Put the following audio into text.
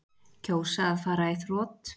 Kjósa að fara í þrot